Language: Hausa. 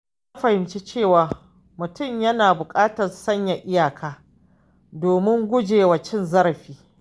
Na fahimci cewa mutum yana buƙatar sanya iyaka domin gujewa cin zarafi.